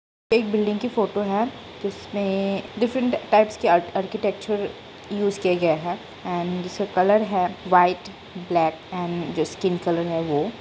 एक बिल्डिंग की फोटो है जिसमे डिफरेंट टाइप्स के आर्क-आर्किटेक्चर यूज़ किये गया है एंड इसका कलर है व्हाइट ब्लैक एंड जो स्किन कलर है वो।